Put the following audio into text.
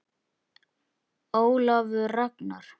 Ólafur Ragnar.